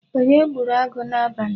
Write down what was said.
Onye gburu agụ n'abali?